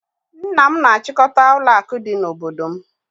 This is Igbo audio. Nna m na-achịkọta ụlọakụ dị n'obodo m